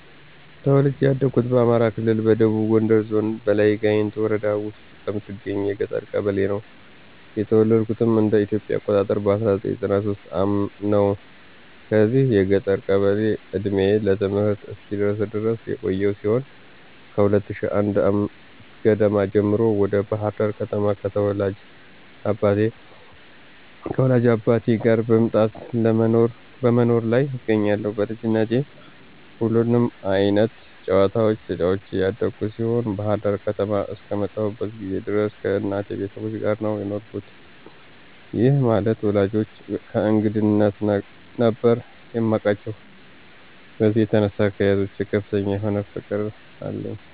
ተወልጄ ያደኩት በአማራ ክልል ደቡብ ጎንደር ዞን በላይ ጋይንት ወረዳ ውስጥ በምትገኝ የገጠር ቀበሌ ነው። የተወለድኩትም እንደ ኢትዮጵያ አቆጣጠር በ1993 ዓ/ም ነው። በዚች የገጠር ቀበሌ እድሜዬ ለትምህርት እስኪደርስ ድረስ የቆየው ሲሆን ከ2001 ዓ/ም ገደማ ጀምሮ ወደ ባህር ዳር ከተማ ከወላጅ አባቴ ጋር መምጣት በመኖር ላይ እገኛለሁ። በልጅነቴ ሁሉንም አይነት ጨዋታዎች ተጫዉቼ ያደኩ ሲሆን ባህር ዳር ከተማ አስከመጣሁበት ጊዜ ድረስ ከእናቴ ቤተሰቦች ጋር ነው የኖርኩት፤ ይህ ማለት ወላጆቼን በእንግድነት ነበር የማቃቸው። በዚህም የተነሳ ለአያቶች ከፍተኛ የሆነ ፍቅር አለኝ።